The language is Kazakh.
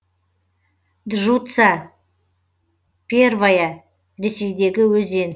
джуца первая ресейдегі өзен